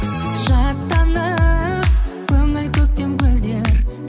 шаттанып көңіл көктем гүлдер